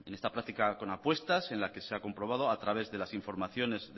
en esa práctica con apuestas en la que se ha comprobado a través de las informaciones